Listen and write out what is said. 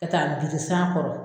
Ka taa n biri san kɔrɔ.